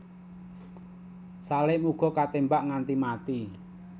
Salim uga ketémbak nganti mati